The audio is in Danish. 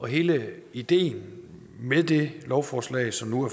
hele ideen med det lovforslag som nu